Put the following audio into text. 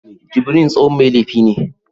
Jubril tsohon mai laifi ne